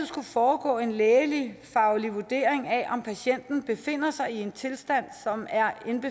skulle foregå en lægefaglig vurdering af om patienten befinder sig i en tilstand som er